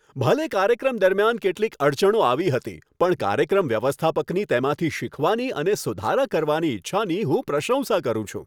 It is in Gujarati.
ભલે કાર્યક્રમ દરમિયાન કેટલીક અડચણો આવી હતી, પણ કાર્યક્રમ વ્યવસ્થાપકની તેમાંથી શીખવાની અને સુધારા કરવાની ઇચ્છાની હું પ્રશંસા કરું છું.